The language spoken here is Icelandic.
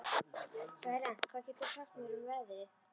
Berent, hvað geturðu sagt mér um veðrið?